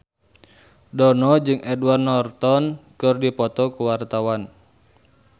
Dono jeung Edward Norton keur dipoto ku wartawan